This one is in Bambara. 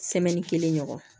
kelen ɲɔgɔn